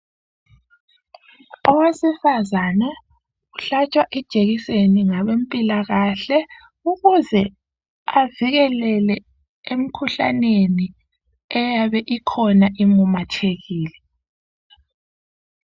Owesifazana uhlatshwa ijekiseni ngabezempilakahle ukuze avikeleke emkhuhlaneni eyabe ikhona imemethekile.